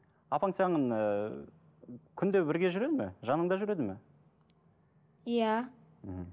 апаң саған ыыы күнде бірге жүреді ме жаныңда жүреді ме иә мхм